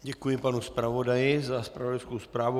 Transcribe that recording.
Děkuji panu zpravodaji za zpravodajskou zprávu.